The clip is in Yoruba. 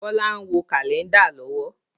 Bọlá ń wo Kálẹ́ndà lọ́wọ́